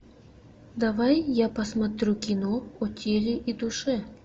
давай я посмотрю кино о теле и душе